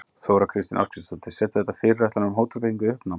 Þóra Kristín Ásgeirsdóttir: Setur þetta fyrirætlanir um hótelbyggingu í uppnám?